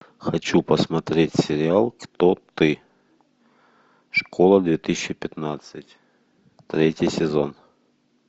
хочу посмотреть сериал кто ты школа две тысячи пятнадцать третий сезон